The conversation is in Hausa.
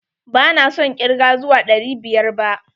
ba na son ƙirge zuwa ɗari biyar ba.